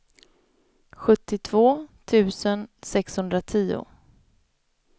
sjuttiotvå tusen sexhundratio